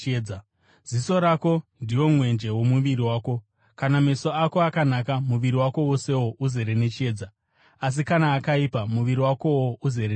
Ziso rako ndiwo mwenje womuviri wako. Kana meso ako akanaka, muviri wako wosewo uzere nechiedza. Asi kana akaipa, muviri wakowo uzere nerima.